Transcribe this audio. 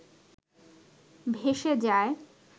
ভেসে যায়